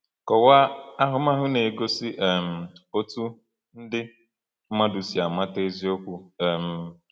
Kọwaa ahụmahụ na-egosi um otú ndị mmadụ si amata eziokwu. um